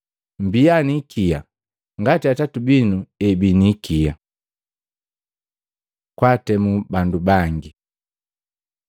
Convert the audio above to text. Mmbia ni ikia ngati Atati binu ebii ni ikia. Kwaatemu bandu bangi Matei 7:1-5